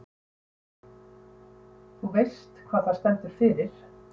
Hugrún: En þú veist hvað það stendur fyrir?